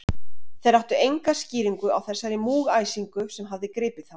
Þeir áttu enga skýringu á þessari múgæsingu, sem hafði gripið þá.